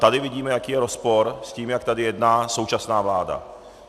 Tady vidíme, jaký je rozpor s tím, jak tady jedná současná vláda.